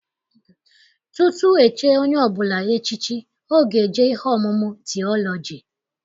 Tutu echie onye ọbụla echichi, ọ ga-eje ihe ọmụmụ tiọlọji.